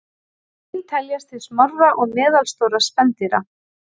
Svín teljast til smárra og meðalstórra spendýra.